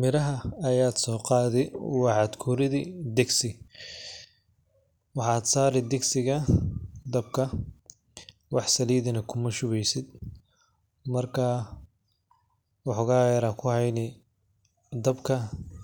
Miraha ayad so qadi waxad kuridi digsi, maxad sari digsiga dabka wax salid na kumashubeysid, marka wax xogaa yar aa kuhayni dabka